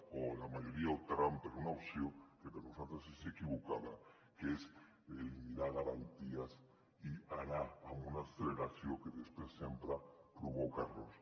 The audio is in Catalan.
o la majoria optaran per una opció que per nosaltres és equivocada que és eliminar garanties i anar amb una acceleració que després sempre provoca errors